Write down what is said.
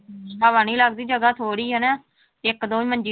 ਹਵਾ ਨੀ ਲੱਗਦੀ ਜਗ੍ਹਾ ਥੋੜ੍ਹੀ ਹੈ ਨਾ, ਇੱਕ ਦੋ ਹੀ ਮੰਜੀ